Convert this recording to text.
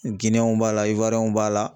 Gineyɛnw b'a la b'a la